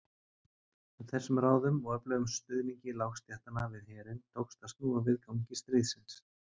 Með þessum ráðum og öflugum stuðningi lágstéttanna við herinn tókst að snúa við gangi stríðsins.